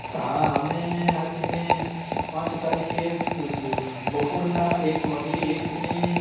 હા અમે actually પાંચ તારીખે બપોર ના એક વાગ્યે એક ને